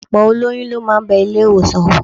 Ọ̀pọ̀ olóyún ló máa bẹ ilé-ìwọ̀sàn wò